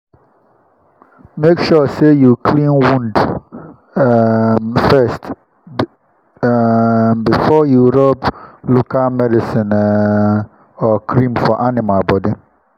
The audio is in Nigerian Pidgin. make sure say you clean wound um first um before you rub local medicine um or cream for animal body.